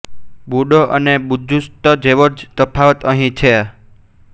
બુડો અને બુજુસ્તુ જેવો જ તફાવત અહીં છે